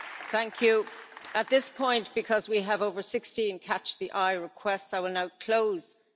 At this point, because we have over 16 catch the eye requests, I will now close catch the eye.